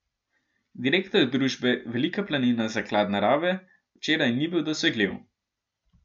Direktor družbe Velika planina Zaklad narave včeraj ni bil dosegljiv.